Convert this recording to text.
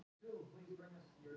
Skúlína, opnaðu dagatalið mitt.